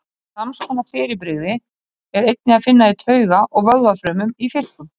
Sams konar fyrirbrigði er einnig að finna í tauga- og vöðvafrumum í fiskum.